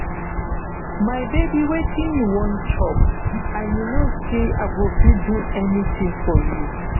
my baby wetin you wan chop and you no say i go fit do anything for you